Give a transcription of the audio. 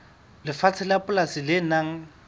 lefatshe la polasi le nang